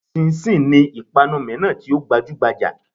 Chinchin' ni ìpanu míràn tí ó gbajúgbajà